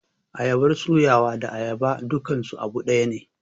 ayabar suyawa da ayaba dukansu abu dayane.